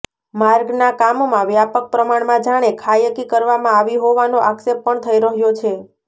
માર્ગના કામમાં વ્યાપક પ્રમાણમાં જાણે ખાયકી કરવામાં આવી હોવાનો આક્ષેપ પણ થઇ રહ્યો છે